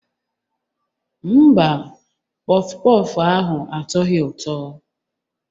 Mba, pọff pọff ahụ atọghị ụtọ.